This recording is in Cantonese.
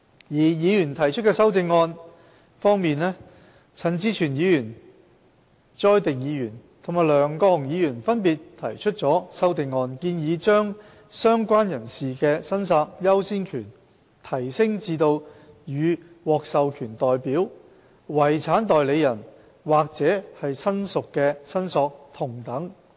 而議員提出的修正案方面，陳志全議員、朱凱廸議員及梁國雄議員分別提出了修正案，建議把"相關人士"的申索優先權提升至與獲授權代表、遺產代理人或親屬的申索同等。